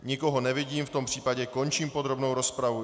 Nikoho nevidím, v tom případě končím podrobnou rozpravu.